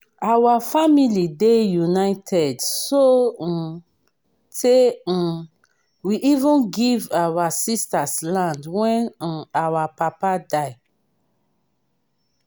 our family dey united so um tey um we even give our sisters land wen um our papa die